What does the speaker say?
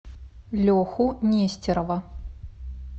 леху нестерова